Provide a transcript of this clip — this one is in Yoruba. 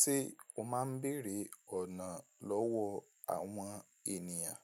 Ṣé o máa ń bèrè ọ̀nà lọ́wọ́ àwọn ènìyàn?